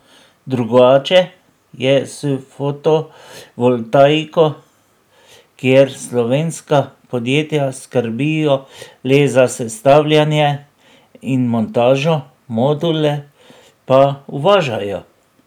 Drugače je s fotovoltaiko, kjer slovenska podjetja skrbijo le za sestavljanje in montažo, module pa uvažajo.